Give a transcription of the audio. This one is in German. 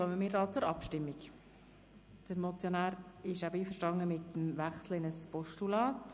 Dann kommen wir entsprechend zur Abstimmung.